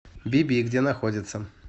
би би где находится